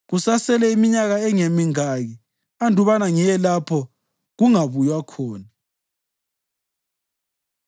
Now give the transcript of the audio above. Kusasele iminyakana engemingaki andubana ngiye lapho kungabuywa khona.”